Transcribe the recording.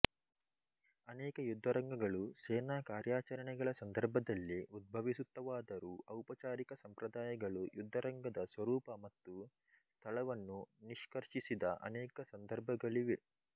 ಅನೇಕ ಯುದ್ಧರಂಗಗಳು ಸೇನಾ ಕಾರ್ಯಾಚರಣೆಗಳ ಸಂದರ್ಭದಲ್ಲಿ ಉದ್ಭವಿಸುತ್ತವಾದರೂ ಔಪಚಾರಿಕ ಸಂಪ್ರದಾಯಗಳು ಯುದ್ಧರಂಗದ ಸ್ವರೂಪ ಮತ್ತು ಸ್ಥಳವನ್ನು ನಿಷ್ಕರ್ಷಿಸಿದ ಅನೇಕ ಸಂದರ್ಭಗಳಿವೆ